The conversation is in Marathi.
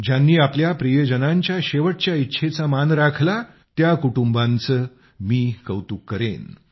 ज्यांनी आपल्या प्रियजनांच्या शेवटच्या इच्छेचा मान राखला त्या कुटुंबांचेही मी कौतुक करेन